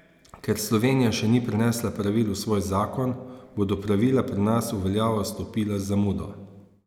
Ker Slovenija še ni prenesla pravil v svoj zakon, bodo pravila pri nas v veljavo vstopila z zamudo.